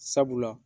Sabula